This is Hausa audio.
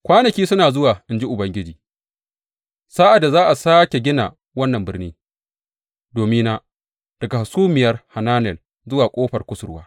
Kwanaki suna zuwa, in ji Ubangiji, sa’ad da za a sāke gina wannan birni domina daga Hasumiyar Hananel zuwa Ƙofar Kusurwa.